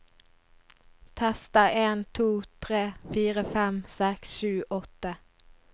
Tester en to tre fire fem seks sju åtte